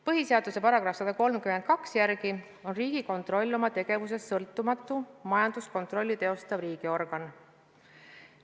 Põhiseaduse § 132 järgi on Riigikontroll oma tegevuses sõltumatu majanduskontrolli teostav riigiorgan.